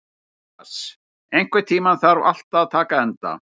Mías, einhvern tímann þarf allt að taka enda.